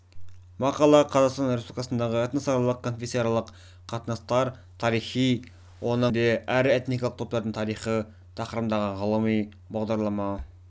мақала қазақстан республикасындағы этносаралық конфессияаралық қатынастар тарихы оның ішінде ірі этникалық топтардың тарихы тақырыбындағы ғылыми бағдарлама